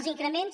els increments